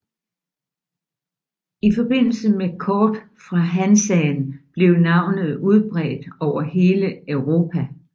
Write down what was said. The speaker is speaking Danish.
I forbindelse med kort fra Hansaen blev navnet udbredt over hele Europa